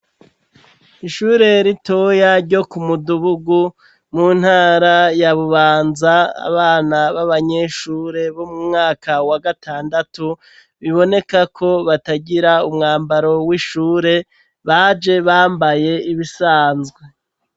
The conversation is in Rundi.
ishure ritoya ryo kumuduhugu muntara ya bubanza abana b'abanyeshure bo mumwaka wa gatandatu bibonekako batagira umwambaro w'ishure baje bambaye ibisanzwe